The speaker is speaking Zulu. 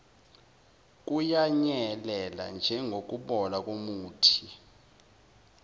kuyanyelela njengokubola komuthi